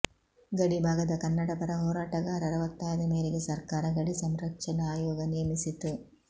ಗಡಿಭಾಗದ ಕನ್ನಡಪರ ಹೋರಾಟಗಾರರ ಒತ್ತಾಯದ ಮೇರೆಗೆ ಸರ್ಕಾರ ಗಡಿ ಸಂರಕ್ಷಣಾ ಆಯೋಗ ನೇಮಿಸಿತು